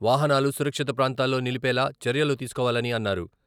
వాహనాలు సురక్షిత ప్రాంతాల్లో నిలిపేలా చర్యలు తీసుకోవాలని అన్నారు.